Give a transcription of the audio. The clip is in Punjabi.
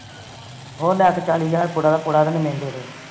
ਹੋਰ ਲੈਕੇ ਚਾਲੀ ਹਜਾਰ ਪੁੜਾ ਦਾ ਪੁੜਾ ਮੈਨੂੰ ਦੇਦੇ